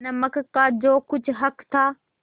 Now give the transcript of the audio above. नमक का जो कुछ हक था